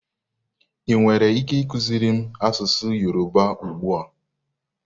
Ị nwere ike ịkụziri m asụsụ Yoruba ugbu a?